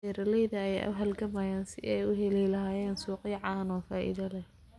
Beeralayda ayaa la halgamaya sidii ay u heli lahaayeen suuqyo caano oo faa'iido leh.